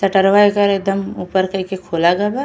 शटरवा एकर एदम ऊपर कइके खोला गै बा।